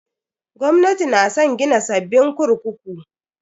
Gwamnatin na san gina sabbin kurkuku.